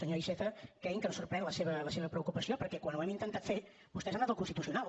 senyor iceta cregui’m que em sorprèn la seva preocupació perquè quan ho hem intentat fer vostès han anat al constitucional